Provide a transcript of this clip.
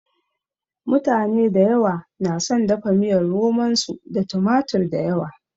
Mutane dayawa na son dafa miyar romon su da tumatir dayawa.